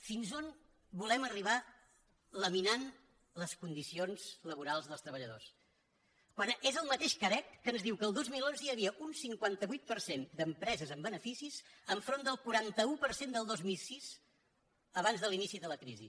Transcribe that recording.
fins a on volem arribar laminant les condicions laborals dels treballadors quan és el mateix carec que ens diu que el dos mil onze hi havia un cinquanta vuit per cent d’empreses amb beneficis enfront del quaranta un per cent del dos mil sis abans de l’inici de la crisi